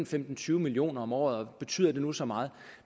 til tyve million kroner om året og betyder det nu så meget